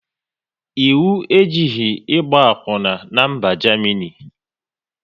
Ịwu ejighị ịgba akwuna n'mba Jamini